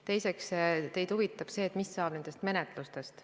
Teiseks, teid huvitab see, mis saab nendest menetlustest.